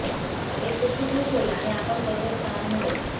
एक व्यक्ती खूश होईल आणि आपण त्याचे स्थान मिळेल